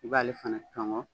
I b'ale fana cɔngɔ.